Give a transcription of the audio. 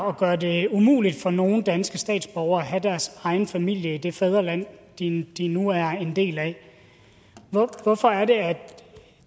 og gøre det umuligt for nogle danske statsborgere at have deres egen familie i det fædreland de de nu er en del af hvorfor er det at